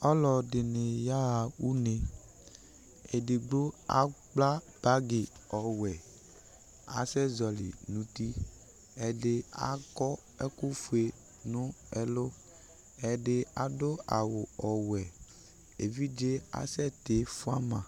Ɔlɔdɩnɩ yaɣa une Edigbo akpla bagɩ ɔwɛ Asɛzɔɣɔlɩ nʋ uti Ɛdɩ akɔ ɛkʋfue nʋ ɛlʋ, ɛdɩ adʋ awʋ ɔwɛ Evidze asɛtɩ fʋa ma